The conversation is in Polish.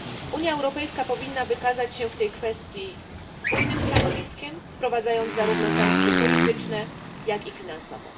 Unia Europejska powinna wykazać się w tej kwestii spójnym stanowiskiem, wprowadzając zarówno sankcje polityczne, jak i finansowe.